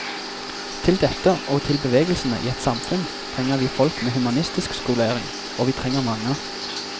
Til dette og til bevegelsene i et samfunn trenger vi folk med humanistisk skolering, og vi trenger mange.